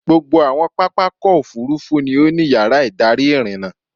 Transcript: Gbogbo àwọn pápákọ̀-òfurufú ni ó ní yàrá-ìdarí ìrìnnà.